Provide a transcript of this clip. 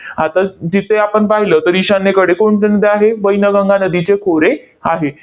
आता तिथे आपण पाहिलं, तर ईशान्येकडे कोणत्या नद्या आहे? वैनगंगा नदीचे खोरे आहे.